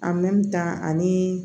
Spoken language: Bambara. ani